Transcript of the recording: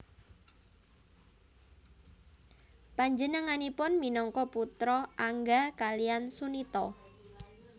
Panjenenganipun minangka putra Angga kaliyan Sunita